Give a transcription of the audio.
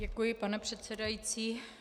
Děkuji, pane předsedající.